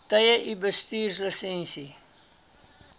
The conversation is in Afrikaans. tye u bestuurslisensie